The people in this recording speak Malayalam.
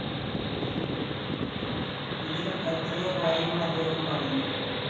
ഇതിലും എത്രയോ കാര്യങ്ങള്‍ അദ്ദേഹം പറഞ്ഞു